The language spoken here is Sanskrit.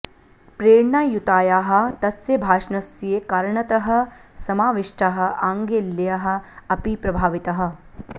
प्रेरणायुतायाः तस्य भाषणस्य कारणतः समाविष्टाः आङ्ग्लेयाः अपि प्रभाविताः